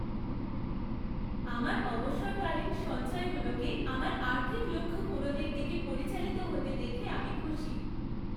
আমার অবসরকালীন সঞ্চয়গুলোকে আমার আর্থিক লক্ষ্য পূরণের দিকে পরিচালিত হতে দেখে আমি খুশি।